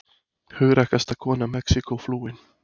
Hugrakkasta kona Mexíkó flúin